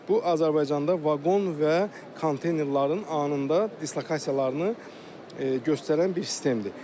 Bu Azərbaycanda vaqon və konteynerlərin anında dislokasiyalarını göstərən bir sistemdir.